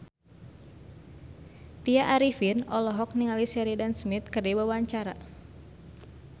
Tya Arifin olohok ningali Sheridan Smith keur diwawancara